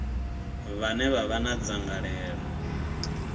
vhane vha vha na dzangalelo